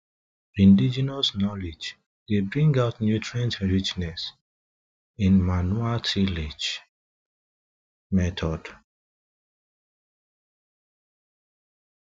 indegenous knowledge dey bring out nutrient richness in manual tillage methods